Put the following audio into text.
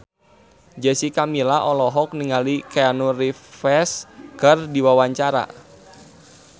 Jessica Milla olohok ningali Keanu Reeves keur diwawancara